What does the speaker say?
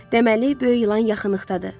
Deməli, böyük ilan yaxınlıqdadır.